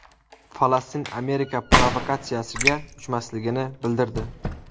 Falastin Amerika provokatsiyasiga uchmasligini bildirdi.